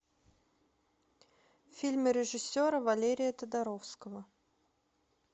фильмы режиссера валерия тодоровского